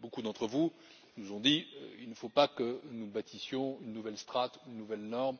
Beaucoup d'entre vous nous ont dit qu'il ne faut pas que nous bâtissions une nouvelle strate, une nouvelle norme,